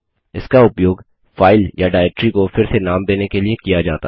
इसका उपयोग फाइल या डाइरेक्टरी को फिर से नाम देने के लिए किया जाता है